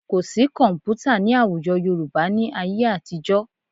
Kò sí kọ̀m̀pútà ní àwùjọ Yorùbá ní ayé àtijọ́